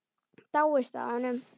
Dáist að honum.